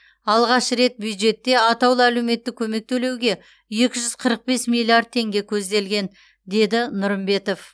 алғаш рет бюджетте атаулы әлеуметтік көмек төлеуге екі жүз қырық бес миллиард теңге көзделген деді нұрымбетов